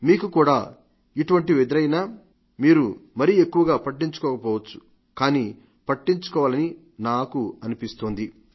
మీకు కూడా ఇటువంటివి ఎదురైనా మీరు మరీ ఎక్కువగా పట్టించుకోకపోవచ్చు గానీ పట్టించుకోవాలని నాకు అనిపిస్తోంది